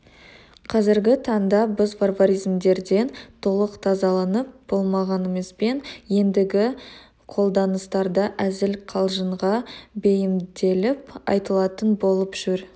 қазіргі таңда біз варваризмдерден толық тазаланып болмағанымызбен ендігі қолданыстарда әзіл-қалжыңға бейімделіп айтылатын болып жүр